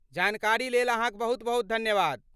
जानकारीलेल अहाँक बहुत धन्यवाद।